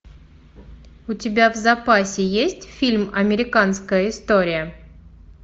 у тебя в запасе есть фильм американская история